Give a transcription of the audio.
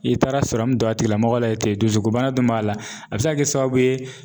I taara sɔrɔ min don a tigila mɔgɔ la yen ten dusukun bana dun b'a la a be se ka kɛ sababu ye.